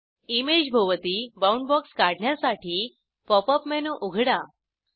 इमेजभोवती bound box काढण्यासाठी pop up menu उघडा